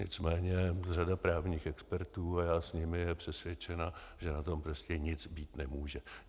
Nicméně řada právních expertů, a já s nimi, je přesvědčena, že na tom prostě nic být nemůže.